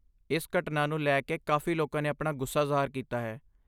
ਇਸ ਘਟਨਾ ਨੂੰ ਲੈ ਕੇ ਕਾਫ਼ੀ ਲੋਕਾਂ ਨੇ ਆਪਣਾ ਗੁੱਸਾ ਜ਼ਾਹਰ ਕੀਤਾ ਹੈ।